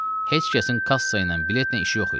Heç kəsin kassa ilə biletlə işi yox idi.